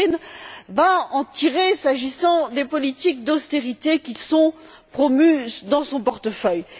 Rehn, va en tirer s'agissant des politiques d'austérité qui sont promues dans son portefeuille.